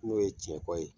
N'o ye cɛ kɔ ye